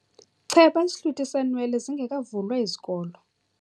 Cheba isihlwitha seenwele zingekavulwa izikolo.